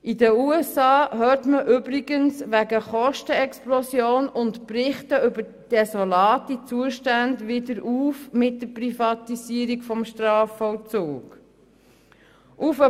In den USA hört man übrigens wegen Kostenexplosion und Berichten über desolate Zustände wieder mit der Privatisierung des Strafvollzugs auf.